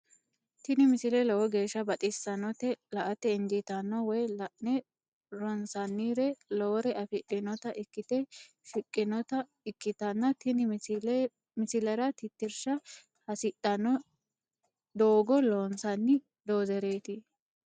tini misile lowo geeshsha baxissannote la"ate injiitanno woy la'ne ronsannire lowore afidhinota ikkite shiqqinota ikkitanna tini misilera tittirsha hasidhanno doogga loonsanni doozereeti.